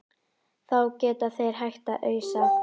Þá geta þeir hætt að ausa.